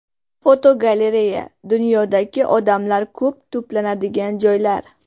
Fotogalereya: Dunyodagi odamlar ko‘p to‘planadigan joylar.